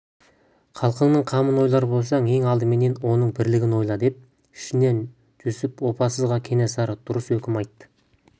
халқыңның қамын ойлар болсаң ең алдыменен оның бірлігін ойла деп ішінен жүсіп опасызға кенесары дұрыс үкім айтты